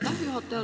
Aitäh, juhataja!